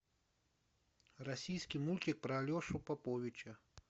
российский мультик про алешу поповича